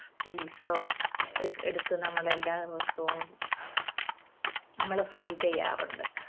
piece ഓ എടുത്ത് നമ്മള് എല്ലാ ദിവസവും നമ്മള് fry ചെയ്യാറുണ്ട്.